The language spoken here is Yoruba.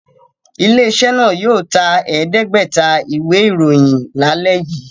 Ilé-iṣẹ́ náà yóò ta ẹ̀ẹ́dẹ́gbẹ̀ta ìwé-ìròyìn lálẹ́ yìí!